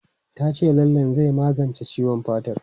Ta ce lallen zai magance ciwon fatar.